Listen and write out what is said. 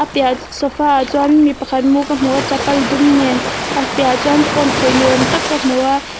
a piah sofa ah chuan mi pakhat mu ka hmu a chapal dum nen a piah ah chuan phone khawih ni awm tak ka hmu a.